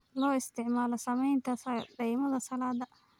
Loo isticmaalo samaynta dhaymada salad.